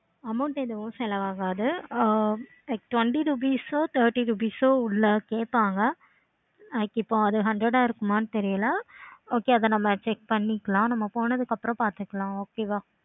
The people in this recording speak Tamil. amount ஏதும் செலவு ஆகாது. ஆஹ் twenty rupees உ thirty rupess ஓ உள்ள கேட்பாங்க. இப்போ hundred ஆஹ் இருக்குமா தெரியல. okay அத நம்ம check பண்ணிக்கலாம். நம்ம போனதுக்கு அப்பறம் பார்த்துக்கலாம். okay வா